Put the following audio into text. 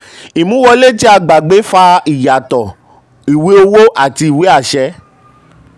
ìmúwọlé tí um a gbàgbé fa ìyàtọ̀ ìwé owó àti ìwé àṣẹ.